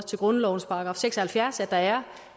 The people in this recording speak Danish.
til grundlovens § seks og halvfjerds der er